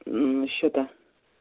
мм счета